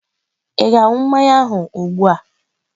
Ị ga-aṅụ mmanya ahụ ugbu a?